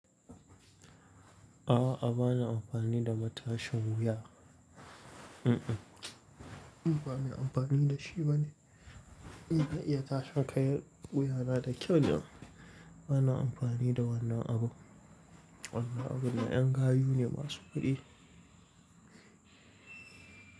A'a, bana amfani da matashin wuya. Mm-mm, ni ba mai amfani da shi ba ne. Ina iya tashin kan wuya na da kyau ni. Bana amfani da wannan abun. Wannan abun na 'yan gayu ne masu kuɗi.